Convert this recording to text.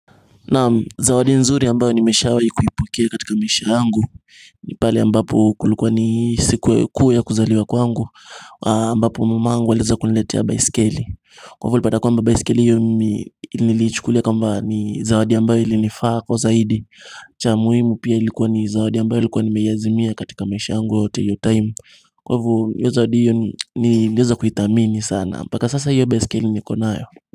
Naam zawadi nzuri ambayo nimeshawahi kuipokea katika maisha yangu nipale ambapo kulikuwa ni siku kuu ya kuzaliwa kwangu ambapo mamangu aliweza kuniletea baiskeli Kwa hivyo nilipata kwamba baiskeli hiyo nilichukulia kwamba ni zawadi ambayo ilinifaa kwa zaidi cha muhimu pia ilikuwa ni zawadi ambayo ilikuwa nimeyaizimia katika maisha yangu yote hiyo timu kwa hivyo hiyo zawadi hiyo niliweza kuitamini sana mpaka sasa hiyo baiskeli niko nayo.